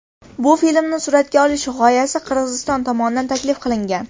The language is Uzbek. Bu filmni suratga olish g‘oyasi Qirg‘iziston tomonidan taklif qilingan.